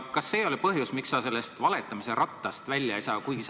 Kas see ei ole põhjus, miks sa sellest valetamise rattast välja ei saa?